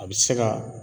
A bɛ se ka